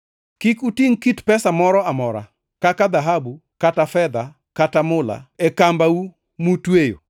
Kik utingʼ kit pesa moro amora, kaka dhahabu kata fedha kata mula, e kambau mutweyo;